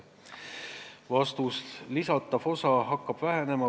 Vastus: lisatav osa hakkab vähenema.